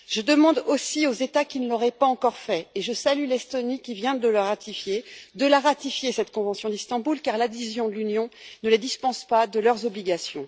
Je demande aussi aux États qui ne l'auraient pas encore fait et je salue l'Estonie, qui vient de le faire de ratifier cette convention d'Istanbul, car l'adhésion de l'Union ne les dispense pas de leurs obligations.